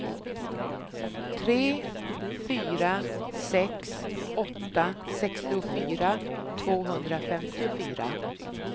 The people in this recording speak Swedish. tre fyra sex åtta sextiofyra tvåhundrafemtiofyra